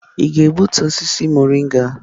Ị ga-egbutu osisi mọrịnga?